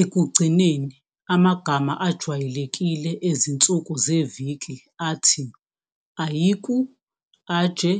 Ekugcineni, amagama ajwayelekile ezinsuku zeviki athi Àìkú, Ajé,